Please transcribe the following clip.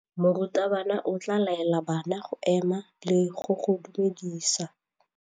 Morutabana o tla laela bana go ema le go go dumedisa.